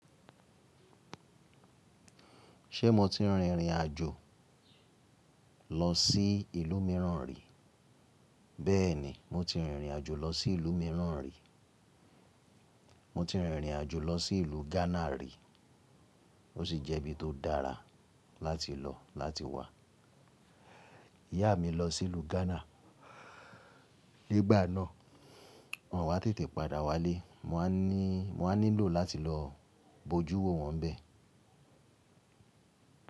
Ṣé mo ti rìnrìn àjò lọ sí ìlú mìíràn rí? Bẹ́ẹ̀ni, mo ti rìnrìn àjò lọ sí ìlú mìíràn rí. Mo ti rìnrìn àjò lọ sí ìlú Ghana rí. Ó sì jẹ́ ibi tó dára láti lọ láti wá. Iyá mi lọ sí ìlú Ghana nígbà náà. Wọ́n wá tètè padà wálé. Mo wá ní mo wá nílò láti lọ bojú wo wọn bẹ́ẹ̀.